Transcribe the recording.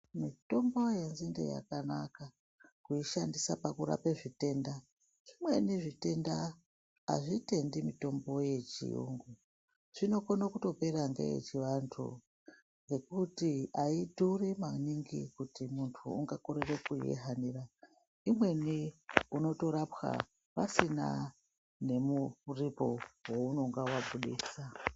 Mitombo yenzinde yakanaka kuishandisa pakurape zvitenda zvimweni zvitenda hazvitendi mitombo yechiyungu zvinokone kutopera ngeye chivantu ngokuti haitore maningi kuti mundu ungakorere kuihanira imweni unotorapwa pasina nomuripo wounonga wabuditsa.